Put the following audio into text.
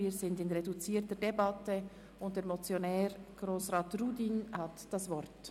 Wir führen eine reduzierte Debatte, und der Motionär, Grossrat Rudin, hat das Wort.